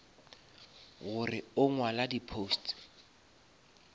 gore o ngwala di posts